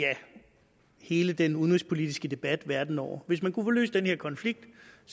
hele den udenrigspolitiske debat verden over hvis man kunne få løst den her konflikt